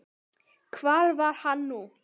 En hvar er hann nú.